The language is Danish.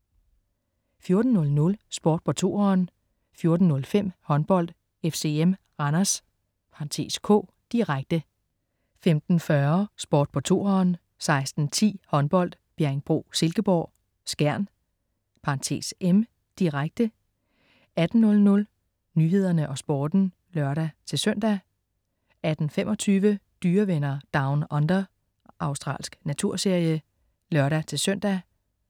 14.00 Sport på 2'eren 14.05 Håndbold: FCM-Randers (k), direkte 15.40 Sport på 2'eren 16.10 Håndbold: Bjerringbro-Silkeborg, Skjern (m), direkte 18.00 Nyhederne og Sporten (lør-søn) 18.25 Dyrevenner Down Under. Australsk naturserie (lør-søn)